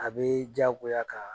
A bɛ diyagoya ka